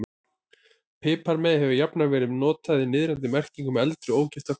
Piparmey hefur jafnan verið notað í niðrandi merkingu um eldri, ógifta konu.